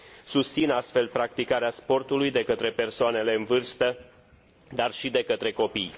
Susțin astfel practicarea sportului de către persoanele în vârstă, dar și de către copii.